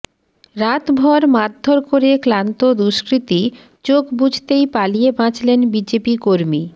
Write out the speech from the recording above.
রাতভর মারধর করে ক্লান্ত দুষ্কৃতী চোখ বুজতেই পালিয়ে বাঁচলেন বিজেপি কর্মী